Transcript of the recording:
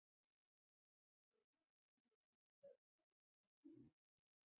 Baula er einnig í landi Hörgsholts í Hrunamannahreppi.